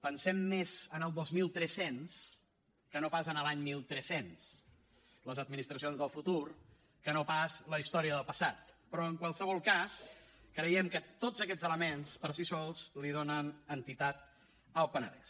pensem més en el dos mil tres cents que no pas en l’any mil tres cents les administracions del futur que no pas la història del passat però en qualsevol cas creiem que tots aquests elements per si sols li donen entitat al penedès